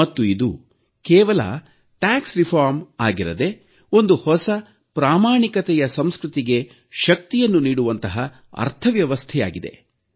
ಮತ್ತು ಇದು ಕೇವಲ ತೆರಿಗೆ ಸುಧಾರಣೆ ಆಗಿರದೆ ಒಂದು ಹೊಸ ಪ್ರಾಮಾಣಿಕತೆಯ ಸಂಸ್ಕೃತಿಗೆ ಶಕ್ತಿಯನ್ನು ನೀಡುವಂತಹ ಅರ್ಥವ್ಯವಸ್ಥೆಯಾಗಿದೆ